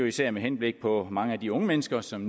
især med henblik på mange af de unge mennesker som